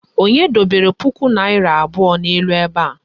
Onye dobere puku naịra abụọ n'elu ebe a?